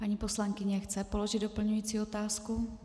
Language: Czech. Paní poslankyně chce položit doplňující otázku.